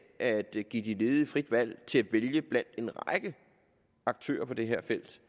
at give de ledige frit valg til at vælge blandt en række aktører på det her felt